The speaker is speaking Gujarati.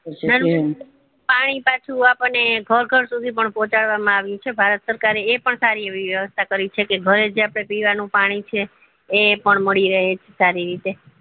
પાણી પાછુ આપણને ઘર ઘર સુધી પણ પહોચાડવા માં આવ્યું છે ભારત સરકાર એ એ પણ સાસરી એવી વ્યસ્ત કરી છે કે ઘરે જે આપડે પીવાનું પાણી છે એ પણ મળી રે છે સારી રીતે